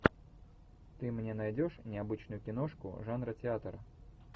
ты мне найдешь необычную киношку жанра театр